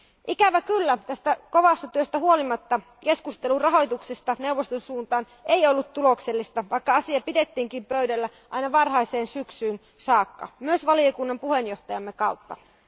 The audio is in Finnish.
Ikävä kyllä tästä kovasta työstä huolimatta keskustelu rahoituksesta neuvoston kanssa ei ollut tuloksellista, vaikka asia pidettiin pöydällä aina varhaiseen syksyyn saakka myös valiokuntamme puheenjohtajan toimesta.